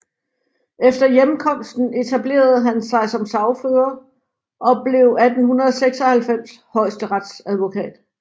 Efter hjemkomsten etablerede han sig som sagfører og blev 1896 højesteretsadvokat